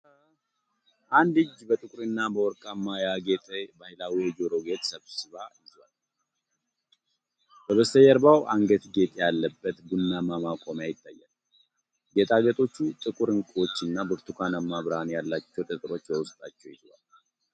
አንድ እጅ በጥቁርና በወርቃማ ያጌጠ ባህላዊ የጆሮ ጌጥ ስብስብ ይዟል። በበስተጀርባ አንገት ጌጥ ያለበት ቡናማ ማቆሚያ ይታያል። ጌጣጌጦቹ ጥቁር ዕንቁዎች እና ብርቱካናማ ብርሃን ያላቸው ጠጠሮች በውስጣቸው ይዘዋል።